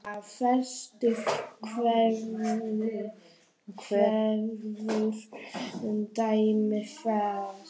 Brynja: Veistu einhver dæmi þess?